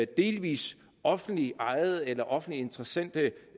delvis offentligt ejede eller offentlige interessente